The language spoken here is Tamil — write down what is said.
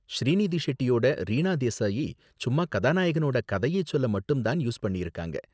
ஸ்ரீநிதி ஷெட்டியோட ரீனா தேசாயை சும்மா கதாநாயகனோட கதையை சொல்ல மட்டும் தான் யூஸ் பண்ணிருக்காங்க.